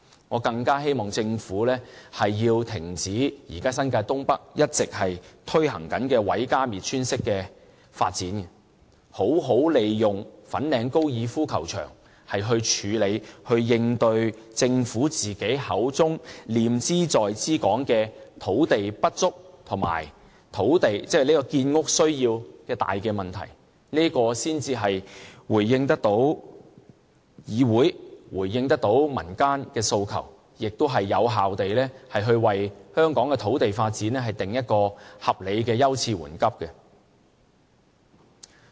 我更希望政府停止現時在新界東北一直推行的毀家滅村式發展，好好利用粉嶺高爾夫球場來處理和應對政府口中念茲在茲的土地不足和建屋需要的大問題，這樣才回應到議會和民間的訴求，亦有效為香港的土地發展制訂合理的優次緩急。